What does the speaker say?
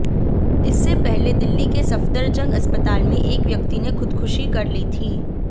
इससे पहले दिल्ली के सफदरजंग अस्पताल में एक व्यक्ति ने खुदकुशी कर ली थी